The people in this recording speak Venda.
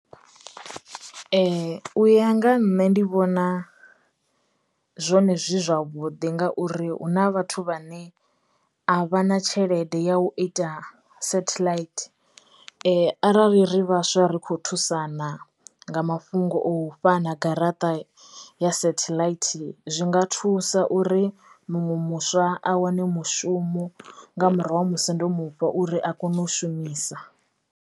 Ee u ya nga ha nṋe ndi vhona zwone zwi zwavhuḓi ngauri huna vhathu vhane a vha na tshelede ya u ita satheḽaithi arali ri vhaswa ri kho thusana nga mafhungo o fhana garaṱa ya satheḽaithi zwinga thusa uri muṅwe muswa a wane mushumo nga murahu ha musi ndo mu fha uri a kone u shumisa.